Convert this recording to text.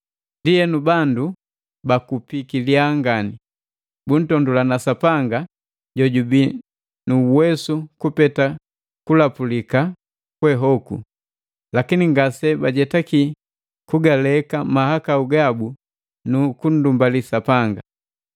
Ndienu, bandu bakupiki lyaa ngani; buntondulana Sapanga jojubii nu uwesu kupete kulapulika kwe hoku. Lakini ngase bajetaki kugaleka mahakau gabu nu kundumbali Sapanga.